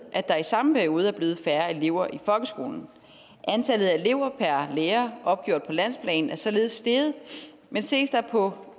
at der i samme periode er blevet færre elever i folkeskolen antallet af elever per lærer opgjort på landsplan er således steget men ses der på